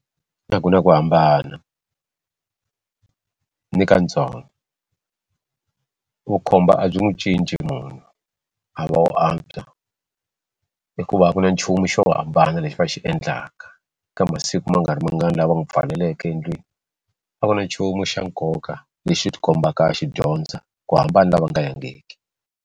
A ku na ku hambana ni kantsongo vukhomba a byi n'wi cinci munhu a va wo antswa hikuva ku na nchumu xo hambana lexi va xi endlaka ka masiku ma nga ri mangani lava n'wi pfaleleke endlwini a ku na nchumu xa nkoka lexi xi ti kombaka a xi dyondza ku hambana na lava nga yangiki.